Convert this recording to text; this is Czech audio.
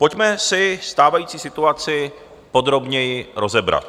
Pojďme si stávající situaci podrobněji rozebrat.